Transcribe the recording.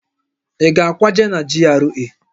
Ị ga-akwaje na GRA?